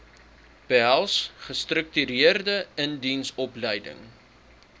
behels gestruktureerde indiensopleiding